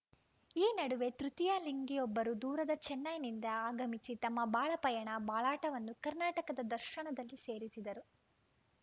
ಈ ನಡುವೆ ತೃತೀಯ ಲಿಂಗಿಯೊಬ್ಬರು ದೂರದ ಚೆನ್ನೈನಿಂದ ಆಗಮಿಸಿ ತಮ್ಮ ಬಾಳ ಪಯಣ ಬಾಳಾಟವನ್ನು ಕರ್ನಾಟಕ ದರ್ಶನದಲ್ಲಿ ಸೇರಿಸಿದರು